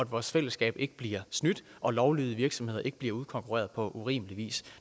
vores fællesskab ikke bliver snydt og at lovlydige virksomheder ikke bliver udkonkurreret på urimelig vis